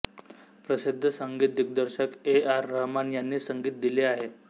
प्रसिद्ध संगीत दिग्दर्शक ए आर रहमान यांनी संगीत दिले आहे